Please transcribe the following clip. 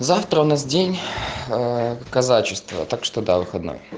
завтра у нас день казачества так что да выходной